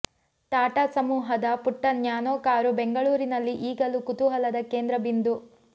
ಟಾಟಾ ಸಮೂಹದ ಪುಟ್ಟ Nano car ಬೆಂಗಳೂರಲ್ಲಿ ಈಗಲೂ ಕುತೂಹಲದ ಕೇಂದ್ರ ಬಿಂದು